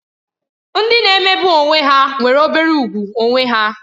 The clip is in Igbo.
Ndị na-emegbu onwe ha nwere obere ùgwù onwe onye